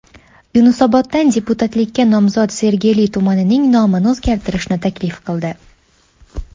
Yunusoboddan deputatlikka nomzod Sergeli tumanining nomini o‘zgartirishni taklif qildi.